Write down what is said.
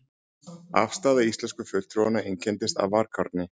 Afstaða íslensku fulltrúanna einkenndist af varkárni.